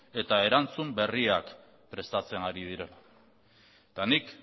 eta erantzun berriak prestatzen ari dira eta nik